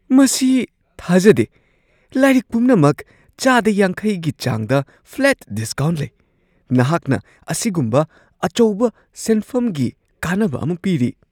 ꯃꯁꯤ ꯊꯥꯖꯗꯦ ! ꯂꯥꯏꯔꯤꯛ ꯄꯨꯝꯅꯃꯛ ꯆꯥꯗ ꯌꯥꯡꯈꯩꯒꯤ ꯆꯥꯡꯗ ꯐ꯭ꯂꯦꯠ ꯗꯤꯁꯀꯥꯎꯟꯠ ꯂꯩ ꯫ ꯅꯍꯥꯛꯅ ꯑꯁꯤꯒꯨꯝꯕ ꯑꯆꯧꯕ ꯁꯦꯟꯐꯝꯒꯤ ꯀꯥꯅꯕ ꯑꯃ ꯄꯤꯔꯤ ꯫